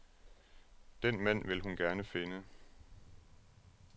Den mand vil hun gerne finde.